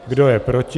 Kdo je proti?